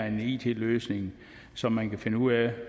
en it løsning så man kan finde ud af